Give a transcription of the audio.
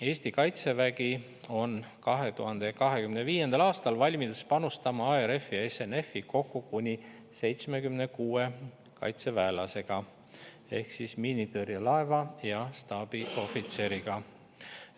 Eesti kaitsevägi on 2025. aastal valmis panustama ARF-i ja SNF-i kokku kuni 76 kaitseväelasega ehk siis miinitõrjelaeva ja staabiohvitseriga.